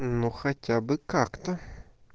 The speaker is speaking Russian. ну хотя бы как-то